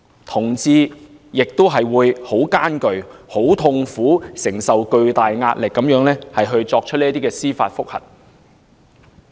同志亦會心感痛苦，在承受巨大壓力下提出司法覆核。